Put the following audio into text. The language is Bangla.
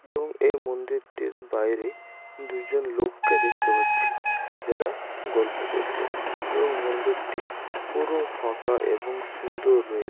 এবং এই মন্দিরটির বাইরে দুজন লোককে দেখতে পাচ্ছি যারা গল্প করছে এবং মন্দিরটি পুরো ফাঁকা এবং সুন্দর র--